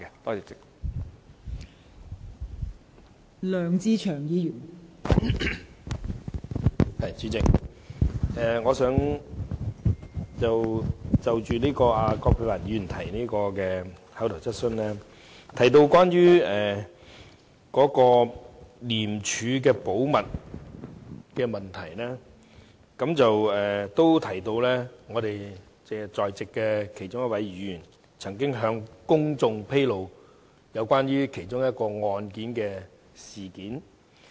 代理主席，葛珮帆議員的口頭質詢提及廉署的保密問題，並提到我們在席的其中一位議員曾經向公眾披露涉及一宗案件的事件。